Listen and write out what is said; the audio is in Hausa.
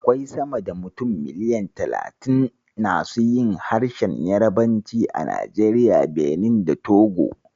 Akwai sama da mutum miliyan talatin nasu yin harshen Yarabanci a Najeriya, Benin, da Togo.